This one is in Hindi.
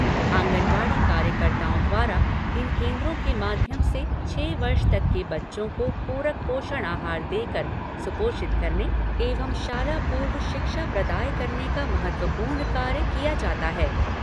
आँगनवाड़ी कार्यकर्ताओं द्वारा इन केन्द्रों के माध्यम से छः वर्ष तक के बच्चों को पूरक पोषण आहार देकर सुपोषित करने एवं शाला पूर्व शिक्षा प्रदाय करने का महत्वपूर्ण कार्य किया जाता है।